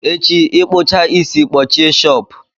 echi, ịkpụchaa isi kpọchie shọpụ!